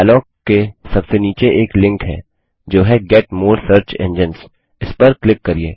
dialogue के सबसे नीचे एक लिंक है जो है गेट मोरे सर्च इंजाइन्स इस पर क्लिक करिये